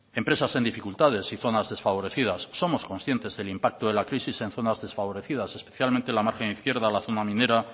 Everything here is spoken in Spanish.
empresas en dificultades y zonas desfavorecidas somos conscientes del impacto de la crisis en zonas desfavorecidas especialmente la margen izquierda la zona minera